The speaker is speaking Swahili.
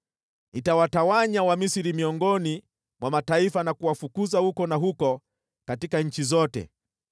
Nitawatawanya Wamisri miongoni mwa mataifa na kuwafukuza huku na huko katika nchi zote.